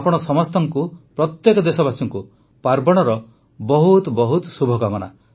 ଆପଣ ସମସ୍ତଙ୍କୁ ପ୍ରତ୍ୟେକ ଦେଶବାସୀଙ୍କୁ ପାର୍ବଣର ବହୁତ ବହୁତ ଶୁଭକାମନା